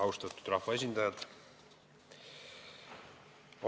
Austatud rahvaesindajad!